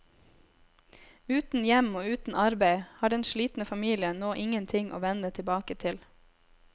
Uten hjem og uten arbeid har den slitne familien nå ingenting å vende tilbake til.